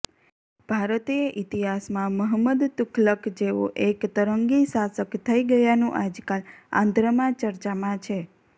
ભારતીય ઇતિહાસમાં મહંમદ તુઘલખ જેવો એક તરંગી શાસક થઇ ગયાનું આજકાલ આંધ્રમાં ચર્ચામાં છે